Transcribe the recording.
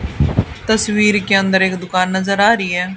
तस्वीर के अंदर एक दुकान नजर आ रही है।